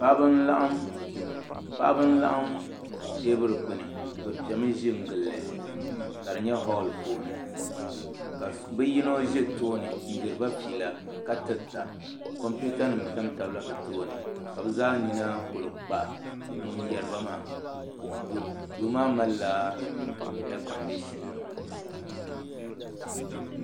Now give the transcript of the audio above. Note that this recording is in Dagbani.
Paɣaba n laɣim teebuli gbuni bi piɛmi ʒi n gilli ka di nyɛ holl puuni ka bi yino ʒɛ tooni n diriba fiila ka tirita kompiuta nim tamtam la bi tooni ka bi zaa nina ku kpa ŋun yɛriba maa duu maa malila eei kondishin nima